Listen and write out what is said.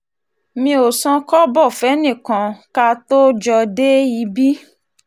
mi ò san kọ́bọ̀ fẹ́nìkan ká tóó jọ dé um ibi